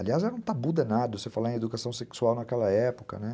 Aliás, era um tabu danado você falar em educação sexual naquela época, né?